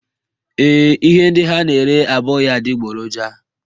Ee, ihe ndị ha na-ere abụghị adịgboroja